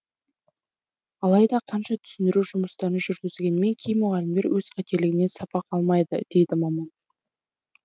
алайда қанша түсіндіру жұмыстарын жүргізгенмен кей мұғалімдер өз қателігінен сабақ алмайды дейді маман